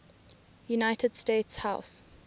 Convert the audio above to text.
united states house